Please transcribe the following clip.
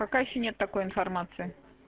пока ещё нет такой информации